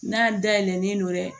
N'a dayɛlɛlen don dɛ